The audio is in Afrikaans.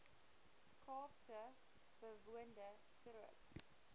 kaapse bewoonde strook